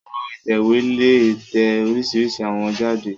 Ẹ̀́rọ ìtẹ̀wé lè tẹ oríṣìíríṣìí àwọ̀ jáde.